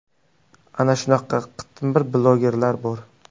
Ana shunaqa qitmir blogerlar bor!